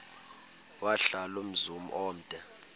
wahlala umzum omde